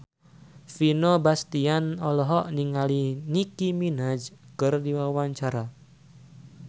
Vino Bastian olohok ningali Nicky Minaj keur diwawancara